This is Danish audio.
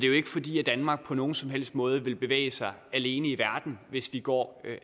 jo ikke fordi danmark på nogen som helst måde vil bevæge sig alene i verden hvis vi går